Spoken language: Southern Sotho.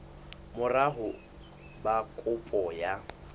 mora ho ba kopo ya